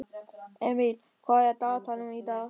Emil, hvað er á dagatalinu í dag?